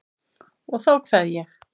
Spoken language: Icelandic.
Og þá kveð ég.